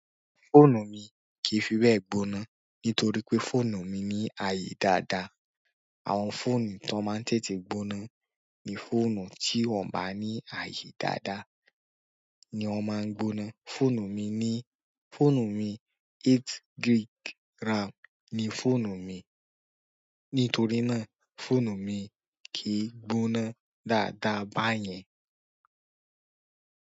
Fóònù mi kì í fibé gbóná nítorí pé fóònù mi ní àyè dáadáa. Àwọn fóònù tó máa ń tètè gbóná ni fóònù tí wọ́n bá ní àyè dáadáa ni wọ́n máa ń gbóná. Fóònù mi ní, fóònù mi eight gig ram ni fóònù mi. Nítorí náà, fóònù mi kì í gbóná dáadáa báyẹn.